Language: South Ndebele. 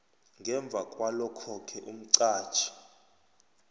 ngemva kwalokhoke umqatjhi